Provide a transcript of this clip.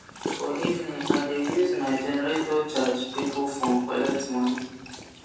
for evening i de use my generator charge pipul phone collect moni